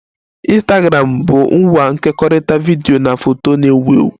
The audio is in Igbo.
Ịnstagramụ bu ngwa nkekọrịta vidiyo na foto na-ewu ewu